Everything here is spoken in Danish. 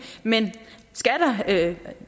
men